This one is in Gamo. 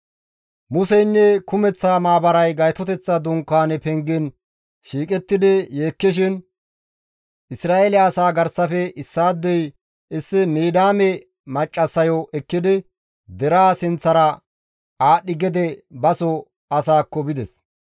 Museynne kumeththa maabaray Gaytoteththa Dunkaane pengen shiiqidi yeekkishin Isra7eele asaa garsafe issaadey issi Midiyaame maccassayo ekkidi deraa sinththara aadhdhi gede baso asaakko bides.